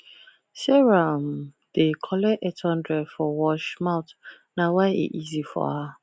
sarah um dey collect eight hundred for wash mouth nah why e easy fro her